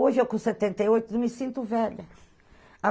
Hoje, eu com setenta e oito, não me sinto velha.